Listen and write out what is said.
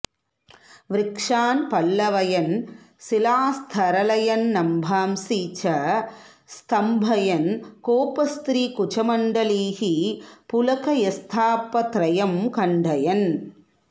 वृक्षान् पल्लवयन् शिलास्तरलयन्नम्भांसि च स्तम्भयन् गोपस्त्रीकुचमण्डलीः पुलकयंस्तापत्रयं खण्डयन्